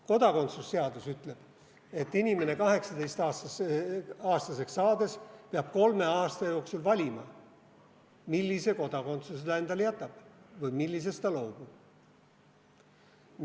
Kodakondsusseadus ütleb, et inimene peab 18-aastaseks saades kolme aasta jooksul valima, millise kodakondsuse ta endale jätab või millisest ta loobub.